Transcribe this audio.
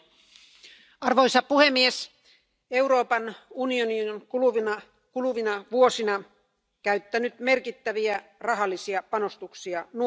Arvoisa puhemies, Euroopan unioni on kuluvina vuosina käyttänyt merkittäviä rahallisia panostuksia nuorisoon.